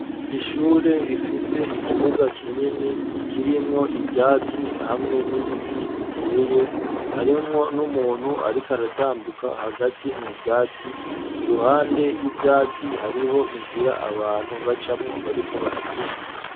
Ishure rifise ikibuga kinini k'irimwo ivyatsi hamwe n'ibiti biteye harimwo n'umuntu ariko aratambuka hagati mu vyatsi iruhande y'ivyatsi hariho inzira abantu bacamwo bariko baragenda